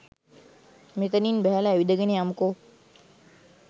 මෙතනින් බැහැල ඇවිදගෙන යමුකෝ.